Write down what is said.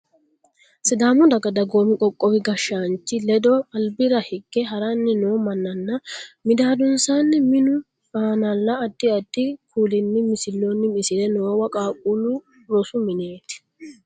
Sidalamu daga dagoomu qoqqowu gashshaanchi ledo albira hige haranni noo mannanna midaadonsaanni minu aanal addi addi kuulinni misilloonni misilla noowa qaaqquullu rosu meneeti.